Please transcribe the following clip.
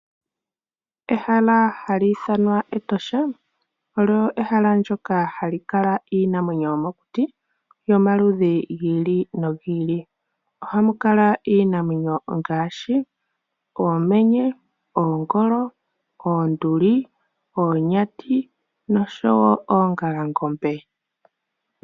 Ehala hali iithanwa Etosha olyo ehala ndoka hali kala iinamwenyo yomokuti yomaludhi gili no gili. Ohamu kala iinamwenyo ngaashi Oomenye, Oongolo, Oonduli, Oonyati noshowo Oongalangombe.